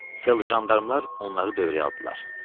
Fel jandarmlar onları dövrəyə aldı.